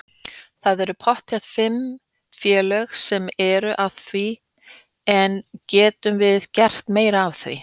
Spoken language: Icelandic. Það eru pottþétt félög sem eru að því en getum við gert meira af því?